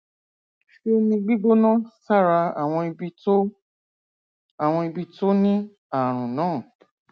fi omi gbígbóná sára àwọn ibi tó àwọn ibi tó ní ààrùn náà